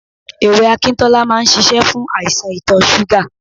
Ewé Akintola máa ń ṣíṣe fún àìsàn itọ̀ súgà.